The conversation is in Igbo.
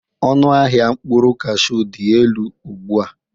Ọnụ ahịa mkpụrụ kashụ dị elu ugbu a.